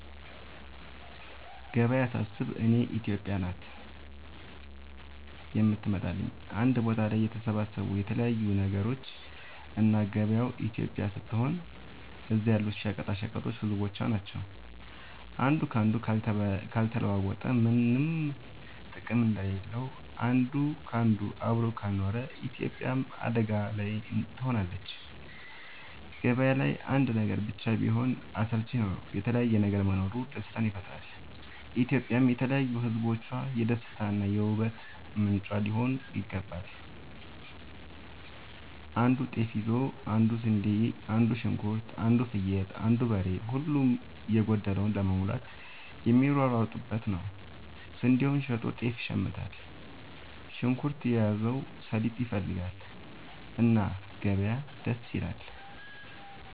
ገበያ ሳስብ እኔ ኢትዮጵያ ናት የምትመጣለኝ አንድ ቦታ ላይ የተሰባሰቡ የተለያዩ ነገሮች እና ገበያው ኢትዮጵያ ስትሆን እዛ ያሉት ሸቀጦች ህዝቦቿ ናቸው። አንዱ ካንዱ ካልተለዋወጠ ምነም ጥቅም እንደሌለው አንድ ካንዱ አብሮ ካልኖረ ኢትዮጵያም አደጋ ላይ ትሆናለች። ገባያው ላይ አንድ ነገር ብቻ ቢሆን አስልቺ ነው የተለያየ ነገር መኖሩ ደስታን ይፈጥራል። ኢትዮጵያም የተለያዩ ህዝቦቿ የደስታ እና የ ውበት ምንጯ ሊሆን ይገባል። አንዱ ጤፍ ይዞ አንዱ ስንዴ አንዱ ሽንኩርት አንዱ ፍየል አንዱ በሬ ሁሉም የጎደለውን ለመሙላት የሚሯሯጡበት ነው። ስንዴውን ሸጦ ጤፍ ይሽምታል። ሽንኩርት የያዘው ሰሊጥ ይፈልጋል። እና ገበያ ደስ ይላል።